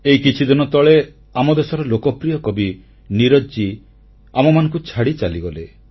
ଏଇ କିଛିଦିନ ତଳେ ଆମ ଦେଶର ଲୋକପ୍ରିୟ କବି ନୀରଜ ଆମମାନଙ୍କୁ ଛାଡ଼ି ଚାଲିଗଲେ